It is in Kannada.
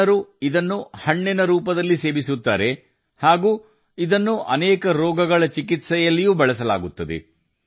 ಜನರು ಇದನ್ನು ಹಣ್ಣಿನ ರೂಪದಲ್ಲಿ ಮಾತ್ರವಲ್ಲ ಅನೇಕ ರೋಗಗಳ ಚಿಕಿತ್ಸೆಯಲ್ಲಿಯೂ ಬಳಸುತ್ತಾರೆ